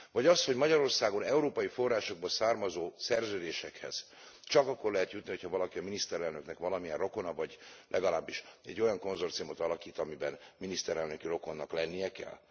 Vagy az, hogy Magyarországon európai forrásokból származó szerződésekhez csak akkor lehet jutni, hogyha valaki a miniszterelnöknek valamilyen rokona, vagy legalábbis egy olyan konzorciumot alakít, amiben miniszterelnöki rokonnak lennie kell?